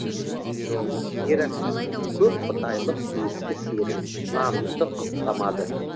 гераклит көпқұдайлық ескі сенім нанымды құптамады